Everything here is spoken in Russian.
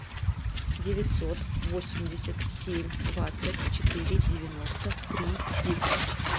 девятьсот восемьдесят семь двадцать четыре девяносто три десять